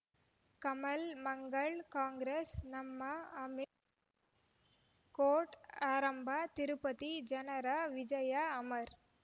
ಕಮಲ್ ಮಂಗಳ್ ಕಾಂಗ್ರೆಸ್ ನಮಃ ಅಮಿಷ್ ಕೋರ್ಟ್ ಆರಂಭ ತಿರುಪತಿ ಜನರ ವಿಜಯ ಅಮರ್